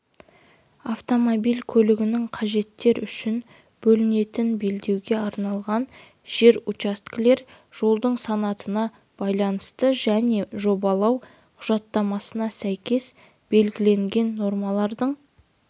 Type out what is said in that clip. автомобиль көлігінің қажеттер үшін бөлінетін белдеуге арналған жер учаскелер жолдың санатына байланысты және жобалау құжаттамасына сәйкес белгіленген нормалардың